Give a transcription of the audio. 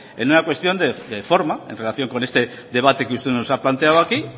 en una cuestión de forma en relación con este debate que usted nos ha planteado aquí